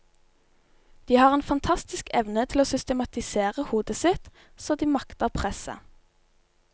De har en fantastisk evne til å systematisere hodet sitt, så de makter presset.